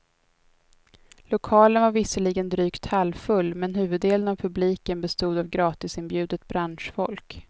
Lokalen var visserligen drygt halvfull, men huvuddelen av publiken bestod av gratisinbjudet branschfolk.